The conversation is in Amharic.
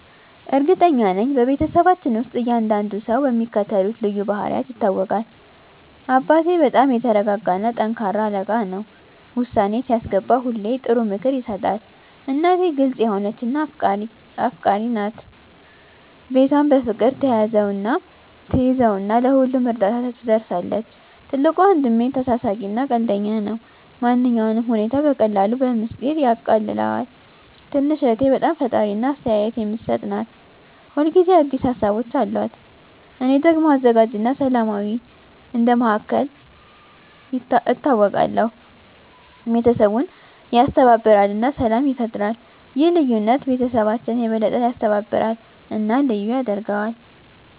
እርግጠኛ ነኝ፤ በቤተሰባችን ውስጥ እያንዳንዱ ሰው በሚከተሉት ልዩ ባህሪያት ይታወቃል - አባቴ በጣም የተረጋጋ እና ጠንካራ አለቃ ነው። ውሳኔ ሲያስገባ ሁሌ ጥሩ ምክር ይሰጣል። እናቴ ግልጽ የሆነች እና አፍቃሪች ናት። ቤቷን በፍቅር ትያዘው እና ለሁሉም እርዳታ ትደርሳለች። ትልቁ ወንድሜ ተሳሳቂ እና ቀልደኛ ነው። ማንኛውንም ሁኔታ በቀላሉ በሚስጥር ያቃልለዋል። ትንሽ እህቴ በጣም ፈጣሪ እና አስተያየት የምትሰጥ ናት። ሁል ጊዜ አዲስ ሀሳቦች አሉት። እኔ ደግሞ አዘጋጅ እና ሰላማዊ እንደ መሃከል ይታወቃለሁ። ቤተሰቡን ያስተባብራል እና ሰላም ይፈጥራል። ይህ ልዩነት ቤተሰባችንን የበለጠ ያስተባብራል እና ልዩ ያደርገዋል።